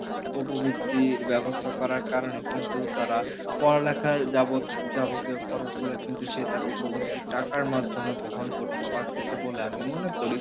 উপবৃত্তির ব্যাবস্থা করার কারণে কিন্তু তারা পড়লেখার যাবত~যাবতীয় খরচ গুলা কিন্তু সে তার উপবৃত্তির টাকার মাধ্যম বহন করতে পারতিছে বলে আমি মনে করি